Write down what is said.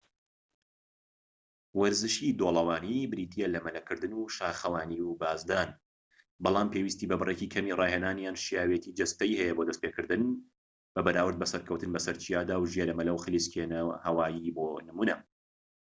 وەرزشی دۆڵەوانی بریتیە لە مەلەکردن و شاخەوانی و بازدان، بەڵام پێویستی بە بڕێکی کەمی ڕاهێنان یان شیاوێتی جەستەیی هەیە بۆ دەستپێکردن بەراورد بە سەرکەوتن بەسەر چیادا و ژێرەمەلە و خلیسکێنەی هەوایی بۆ نمونە